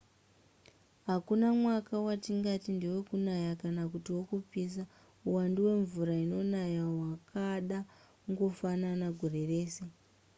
hakuna mwaka watingati ndewekunaya kana kuti ndewekupisa uwandu hwemvura inonaya hwakada kungofanana gore rese